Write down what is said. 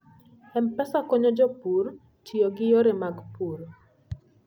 M-Pesa konyo jopur tiyo gi yore mag pur.